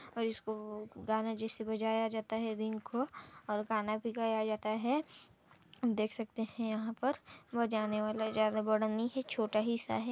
और इसको गाने जैसे बजाय जाता है रिंग को और गाना भी गया जाता है देख सकते है यहाँ पर बजाने वाला ज्यादा बड़ा नहीं है छोटा ही सा है।